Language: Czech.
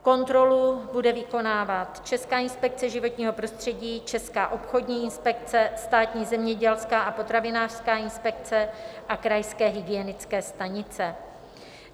Kontrolu bude vykonávat Česká inspekce životního prostředí, Česká obchodní inspekce, Státní zemědělská a potravinářská inspekce a krajské hygienické stanice.